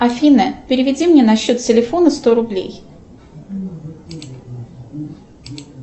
афина переведи мне на счет телефона сто рублей